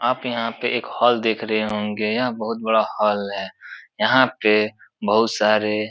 आप यहाँ पे एक हॉल देख रहे होंगे। यहाँ बहुत बड़ा हॉल है। यहाँ पे बहुत सारे --